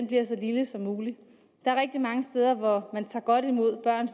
bliver så lille som muligt der er rigtig mange steder hvor man tager godt imod børn